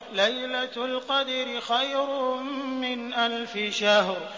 لَيْلَةُ الْقَدْرِ خَيْرٌ مِّنْ أَلْفِ شَهْرٍ